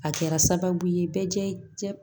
A kɛra sababu ye bɛɛ jɛ jɛ